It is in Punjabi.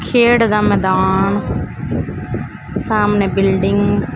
ਖੇਡ ਦਾ ਮੈਦਾਨ ਸਾਹਮਣੇ ਬਿਲਡਿੰਗ --